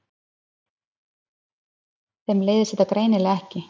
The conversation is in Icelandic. Þeim leiðist þetta greinilega ekki.